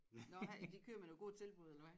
Nå ja de kører med nogle gode tilbud eller hvad?